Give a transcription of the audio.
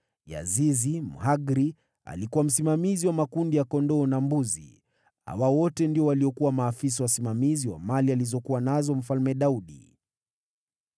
Yazizi Mhagri alikuwa msimamizi wa makundi ya kondoo na mbuzi. Hawa wote ndio waliokuwa maafisa wasimamizi wa mali alizokuwa nazo Mfalme Daudi.